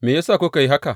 Me ya sa kuka yi haka?